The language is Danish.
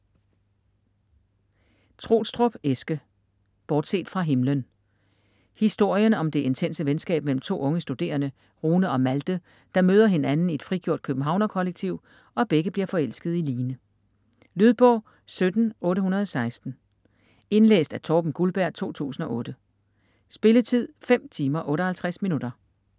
Troelstrup, Eske: Bortset fra himlen Historien om det intense venskab mellem to unge studerende, Rune og Malthe, der møder hinanden i et frigjort københavnerkollektiv og begge bliver forelskede i Line. Lydbog 17816 Indlæst af Torben Gulberg, 2008. Spilletid: 5 timer, 58 minutter.